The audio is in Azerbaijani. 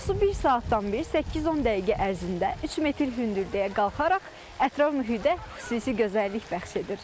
Su bir saatdan bir 8-10 dəqiqə ərzində 3 metr hündürlüyə qalxaraq ətraf mühitə xüsusi gözəllik bəxş edir.